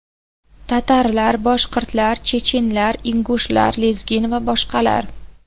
Tatarlar, boshqirdlar, chechinlar, ingushlar, lezgin va boshqalar.